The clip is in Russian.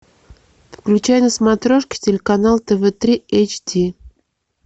включай на смотрешке телеканал тв три эйч ди